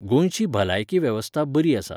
गोंयची भलायकी वेवस्था बरी आसा.